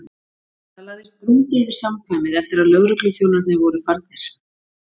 Það lagðist drungi yfir samkvæmið eftir að lögregluþjón- arnir voru farnir.